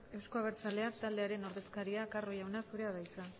euzko abertzaleak taldearen ordezkaria carro jauna zurea de hitza